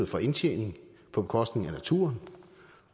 for indtjening på bekostning af naturen